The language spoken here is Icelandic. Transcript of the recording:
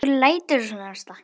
Af hverju læturðu svona Ásta?